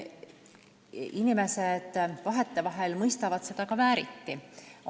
Vahetevahel inimesed mõistavad seda ka vääriti.